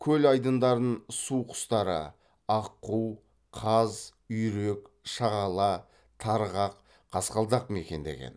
көл айдындарын суқұстары аққу қаз үйрек шағала тарғақ қасқалдақ мекендеген